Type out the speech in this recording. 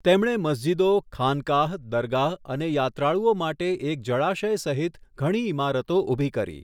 તેમણે મસ્જિદો, ખાનકાહ, દરગાહ અને યાત્રાળુઓ માટે એક જળાશય સહિત ઘણી ઇમારતો ઊભી કરી.